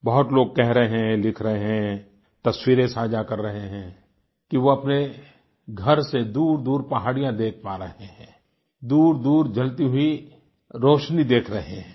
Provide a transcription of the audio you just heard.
बहुत लोग कह रहे हैं लिख रहे हैं तस्वीरें साझा कर रहे हैं कि वह अपने घर से दूरदूर पहाड़ियां देख पा रहे हैं दूरदूर जलती हुई रोशनी देख रहे हैं